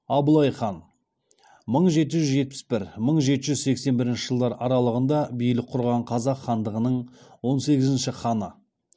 абылай хан мың жеті жүз жетпіс бір мың жеті жүз сексен бірінші жылдар аралығында билік құрған қазақ хандығының он сегізінші ханы